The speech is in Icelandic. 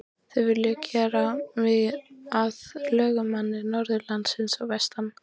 Þeir vilja gera mig að lögmanni norðanlands og vestan.